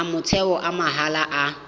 a motheo a mahala a